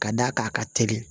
Ka d'a kan a ka teli